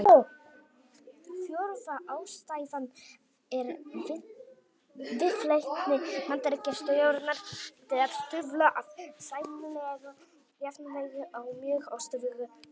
Fjórða ástæðan er viðleitni Bandaríkjastjórnar til að stuðla að sæmilegu jafnvægi á mjög óstöðugu svæði.